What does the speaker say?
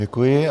Děkuji.